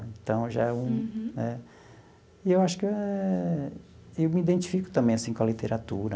Então, já é um. Uhum. Né e eu acho que eh eu me identifico também assim com a literatura.